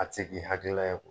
A ti k'i hakilila ye